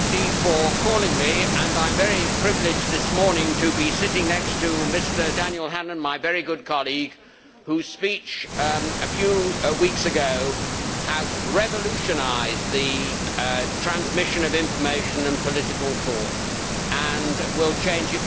Mr President, I am very privileged this morning to be sitting next to Mr Daniel Hannan, my very good colleague, whose speech a few weeks ago has revolutionised the transmission of information and political thought and will change it for the future.